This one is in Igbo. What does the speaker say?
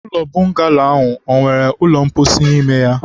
ụlọ bọngalo a ọ nwere ụlọ mposi n'ime ya?